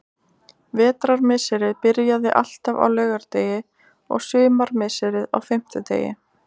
Vetrarmisserið byrjaði alltaf á laugardegi og sumarmisserið á fimmtudegi.